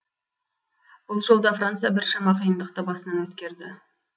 бұл жолда франция біршама қиындықты басынан өткерді